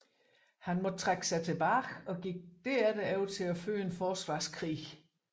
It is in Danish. Han måtte trække sig tilbage og gik derefter over til at føre en forsvarskrig